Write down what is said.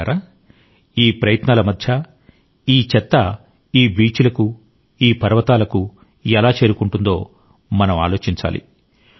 మిత్రులారా ఈ ప్రయత్నాల మధ్య ఈ చెత్త ఈ బీచ్ లకు ఈ పర్వతాలకు ఎలా చేరుకుంటుందో కూడా మనం ఆలోచించాలి